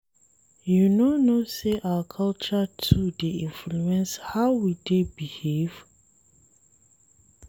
You no know sey our culture too dey influence how we dey behave?